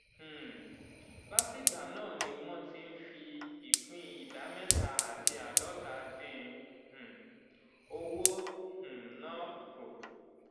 um látìgbà náà ni wọ́n ti ń fi ìpín ìdá mẹ́ta àti àádọ́ta dín um owó um náà kù.